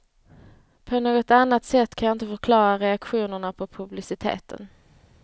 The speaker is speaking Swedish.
På något annat sätt kan jag inte förklara reaktionerna på publiciteten.